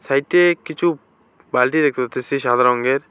সাইটে কিছু বালটি দেখতে পারতেছি সাদা রঙের।